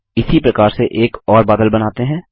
इसी प्रकार से एक और बादल बनाते हैं